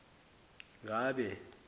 ngabe